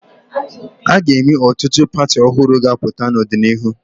A ga-enwe ọtụtụ pati ọhụrụ ga-apụta n'ọdịnihu.